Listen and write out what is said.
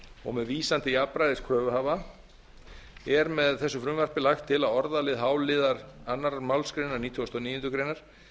og með vísan til jafnræðis kröfuhafa er með þessu frumvarpi lagt til að orðalagi h liðar annarrar málsgreinar nítugasta og níundu grein